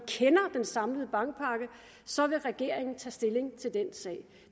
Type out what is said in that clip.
kender den samlede bankpakke så vil regeringen tage stilling til den sag